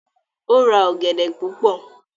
o ra ogede púpọ.